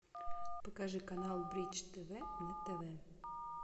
покажи канал бридж тв на тв